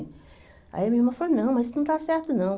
Aí a minha irmã falou, não, mas isso não está certo, não.